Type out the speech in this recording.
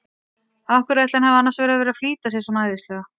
Af hverju ætli hann hafi annars verið að flýta sér svona æðislega!